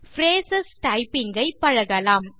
brace typing ஐ பழகலாம்